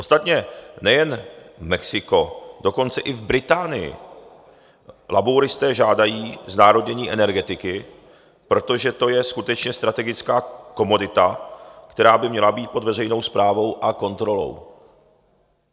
Ostatně nejen Mexiko, dokonce i v Británii labouristé žádají znárodnění energetiky, protože to je skutečně strategická komodita, která by měla být pod veřejnou správou a kontrolou.